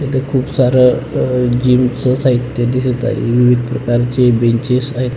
इथे खुप सार अ जिमच साहित्य दिसत आहे विविध प्रकारचे बेंचेस आहेत.